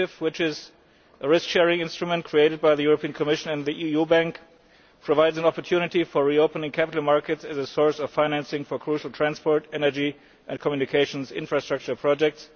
initiative, which is a risk sharing instrument created by the Commission and the EU bank, provides an opportunity for reopening capital markets as a source of financing for crucial transport, energy and communications infrastructure projects.